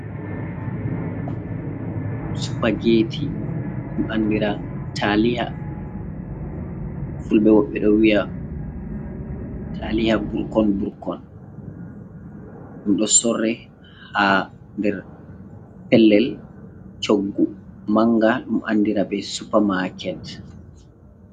Supageeti, ɗum anndira taaliiya. Fulɓe ɗo wiya taaliiya burkon burkon, ɗum ɗo sorre, haa nder pellel coggu mannga, ɗum anndira be supamaket.